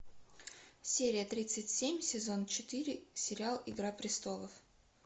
серия тридцать семь сезон четыре сериал игра престолов